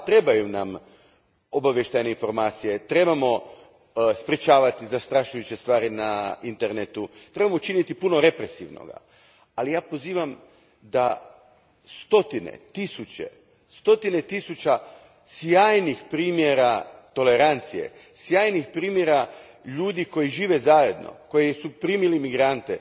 Da, trebaju nam obavještajne informacije, trebamo sprječavati zastrašujuće stvari na internetu, trebamo učiniti puno represivnoga, ali ja se pozivam na stotine, tisuće, stotine tisuća sjajnih primjera tolerancije, sjajnih primjera ljudi koji žive zajedno, koji su primili imigrante,